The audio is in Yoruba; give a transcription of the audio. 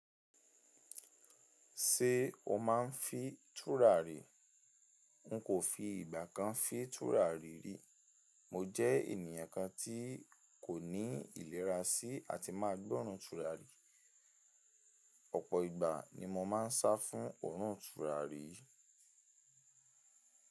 Ṣé o máa ń fi tùrà re? N kò fi ìgbà kan fi tùrà rí rí. Mo jẹ́ ènìyàn kan tí kò ní ìlera sí àti máa gbọ́run tùrà rí. Ọ̀pọ̀ ìgbà ni mo máa ń sá fún òórùn tùrà rí.